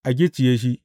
A gicciye shi!